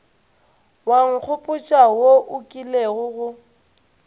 wa nkgopotša wo o kilego